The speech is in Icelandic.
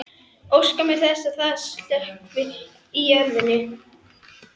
Hvernig ætlaði hún að vera einstæð móðir?